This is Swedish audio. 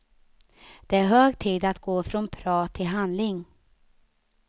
Det är hög tid att gå från prat till handling.